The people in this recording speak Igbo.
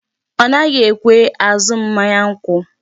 Ọ naghi ekwe azụ m mmanya nkwụ.